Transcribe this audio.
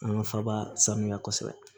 An ka faba sanuya kosɛbɛ